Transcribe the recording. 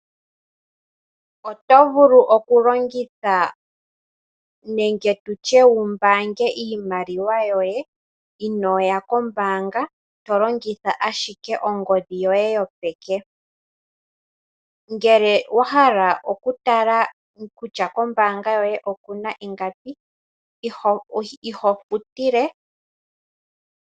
Oto vulu okulongitha nenge tutye wu mbaange iimaliwa yoye inooya kombaanga tolongitha ashike ongodhi yoye yopeke, ngele wa hala okutala kutya kombaanga yoye okuna ingapi ihashi futilwa.